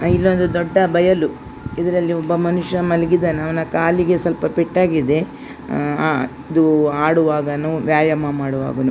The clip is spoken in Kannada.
ಇದು ಒಂದು ದೊಡ್ಡ ಬಯಲು ಇದರಲ್ಲಿ ಒಬ್ಬ ಮನುಷ್ಯ ಮಲಗಿದ್ದಾನೆ ಅವ್ನ ಕಾಲಿಗೆ ಸ್ವಲ್ಪ ಪೆಟ್ಟಾಗಿದೆಆಹ್ಹ್ ಅದು ಆಡುವಾಗನೋ ವ್ಯಾಯಾಮ ಮಾಡುವಾಗೇನೋ --